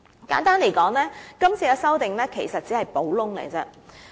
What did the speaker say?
簡單而言，這次的修訂其實只是補洞。